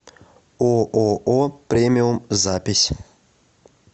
ооо премиум запись